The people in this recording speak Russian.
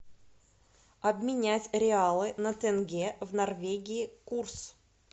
обменять реалы на тенге в норвегии курс